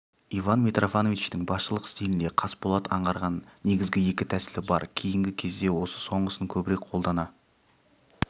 иван митрофановичтің басшылық стилінде қасболат аңғарған негізгі екі тәсілі бар кейінгі кезде осы соңғысын көбірек қолдана